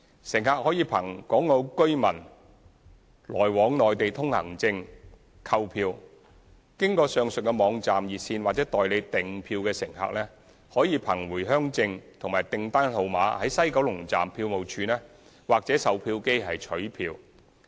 乘客可憑《港澳居民來往內地通行證》購票；經上述網站、熱線或代理訂票的乘客，可憑回鄉證及訂單號碼在西九龍站票務處或售票機取票。